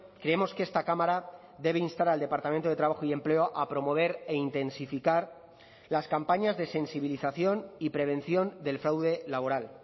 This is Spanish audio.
creemos que esta cámara debe instar al departamento de trabajo y empleo a promover e intensificar las campañas de sensibilización y prevención del fraude laboral